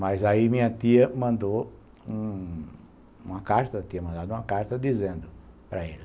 Mas aí minha tia mandou um uma carta, tinha mandado uma carta dizendo para ele.